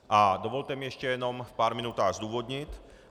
A dovolte mi ještě jenom v pár minutách zdůvodnit.